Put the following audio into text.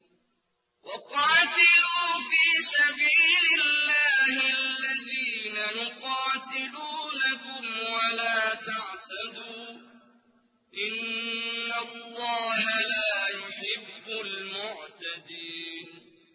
وَقَاتِلُوا فِي سَبِيلِ اللَّهِ الَّذِينَ يُقَاتِلُونَكُمْ وَلَا تَعْتَدُوا ۚ إِنَّ اللَّهَ لَا يُحِبُّ الْمُعْتَدِينَ